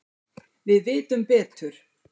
Við vitum betur